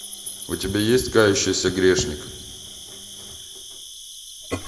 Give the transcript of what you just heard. у тебя есть кающийся грешник